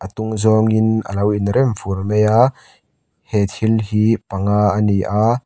atung zawnin a lo inrem fur mai a he thil hi panga a ni a.